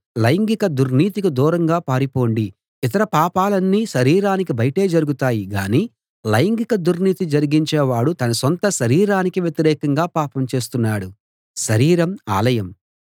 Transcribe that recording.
లైంగిక దుర్నీతికి దూరంగా పారిపొండి ఇతర పాపాలన్నీ శరీరానికి బయటే జరుగుతాయి గానీ లైంగిక దుర్నీతి జరిగించేవాడు తన సొంత శరీరానికి వ్యతిరేకంగా పాపం చేస్తున్నాడు